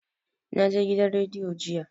Na je gidan rediyo jiya